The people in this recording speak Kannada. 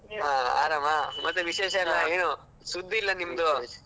ಹಾ ಆರಾಮ ಮತ್ತೆ ವಿಶೇಷೇಷಲ್ಲ ಏನು ಸುದ್ದಿ ಇಲ್ಲ ನಿಮ್ದು.